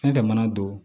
Fɛn fɛn mana don